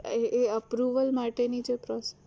એ એ approval માટેની તો process